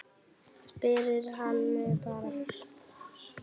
Spyrjið hana bara.